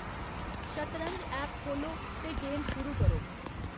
शतरंज ऐप खोह्ल्लो ते गेम शुरू करो